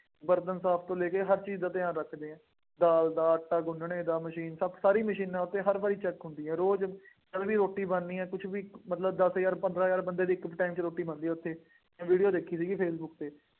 ਬਰਤਨ ਸਾਫ ਤੋਂ ਲੈ ਕੇ, ਹਰ ਚੀਜ਼ ਦਾ ਧਿਆਨ ਰੱਖਦੇ ਹੈ, ਦਾਲ ਦਾ, ਆਟਾ ਗੁੰਨ੍ਹਣੇ ਦਾ, ਮਸ਼ੀਨ ਸਭ ਸਾਰੀਆਂ ਮਸ਼ੀਨਾਂ ਉੱਥੇ ਹਰ ਵਾਰੀ check ਹੁੰਦੀ ਹੈ, ਰੋਜ਼ ਤਕੜੀ ਰੋਟੀ ਬਣਨੀ ਆ, ਕੁੱਛ ਵੀ, ਮਤਲਬ ਦਸ ਹਜ਼ਾਰ, ਪੰਦਰਾਂ ਹਜ਼ਾਰ ਬੰਦੇ ਦੀ ਇੱਕ time ਚ ਰੋਟੀ ਬਣਦੀ ਹੈ ਉੱਥੇ ਮੈਂ ਵੀਡੀਓ ਦੇਖੀ ਸੀਗੀ ਫੇਸਬੁੱਕ ਤੇ